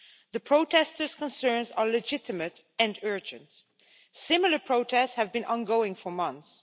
The protesters' concerns are legitimate and urgent. Similar protests have been ongoing for months.